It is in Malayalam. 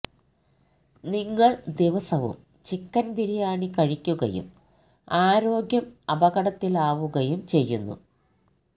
നിങ്ങള് ദിവസവും ചിക്കന് ബിരിയാണി കഴിക്കുകയും ആരോഗ്യം അപകടത്തിലാവുകയും ചെയ്യുന്നു